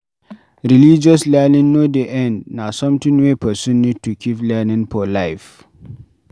Religious learning no dey end, na something wey person need to keep learning for life